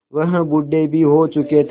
वह बूढ़े भी हो चुके थे